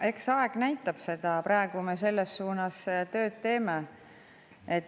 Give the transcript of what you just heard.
Eks aeg näitab, praegu me selles suunas tööd teeme.